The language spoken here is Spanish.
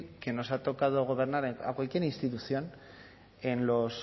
que nos ha tocado gobernar a cualquier institución en los